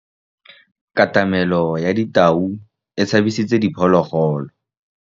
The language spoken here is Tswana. Katamêlô ya tau e tshabisitse diphôlôgôlô.